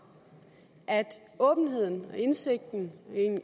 at åbenheden og indsigten